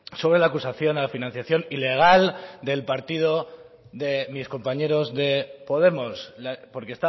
sobre la acusación a la financiación ilegal del partido de mis compañeros de podemos porque